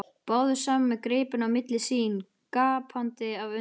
Báðir saman með gripinn á milli sín, gapandi af undrun.